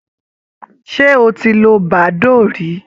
Ṣé o ti lo badoo rí?